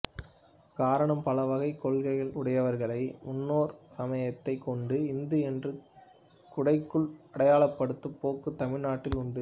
காரணம் பல வகை கொள்கை உடையவர்களை முன்னோர் சமயத்தை கொண்டு இந்து என்று குடைக்குள் அடையாளப்படுத்தும் போக்கு தமிழ்நாட்டில் உண்டு